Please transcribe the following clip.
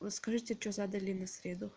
ну скажите что задали на среду